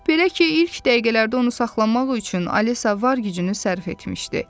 Belə ki, ilk dəqiqələrdə onu saxlamaq üçün Alisa var gücünü sərf etmişdi.